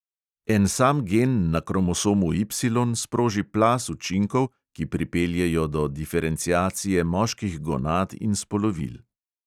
En sam gen na kromosomu Y sproži plaz učinkov, ki pripeljejo do diferenciacije moških gonad in spolovil.